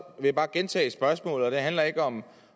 jeg bare gentage spørgsmålet og det handler ikke om